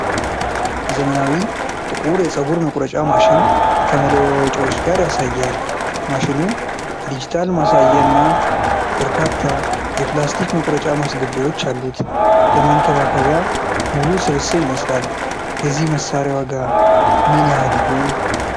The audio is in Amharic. ዘመናዊ ጥቁር የፀጉር መቁረጫ ማሽን ከመለዋወጫዎች ጋር ያሳያል። ማሽኑ የዲጂታል ማሳያ እና በርካታ የፕላስቲክ መቁረጫ ማስገቢያዎች አሉት። ለመንከባከቢያ ሙሉ ስብስብ ይመስላል። የዚህ መሣሪያ ዋጋ ምን ያህል ይሆን?